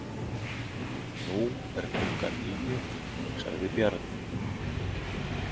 Nú er klukkan níu, sagði Bjarni.